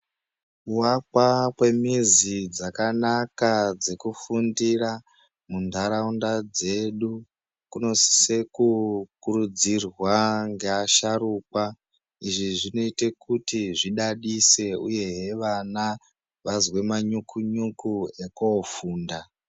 Kuakwa kwemizi dzakanaka dzekufundira munharaunda dzedu kunosise kukurudzirwa ngeasharukwa izvi zvinoite kuti zvidadise uye vana vazwe manyukunyuku ekofunda.